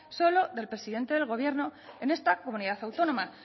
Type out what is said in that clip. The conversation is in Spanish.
solo del presidente del gobierno en esta comunidad autónoma